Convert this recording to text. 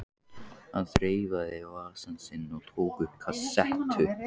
Hann þreifaði í vasann sinn og tók upp kassettu.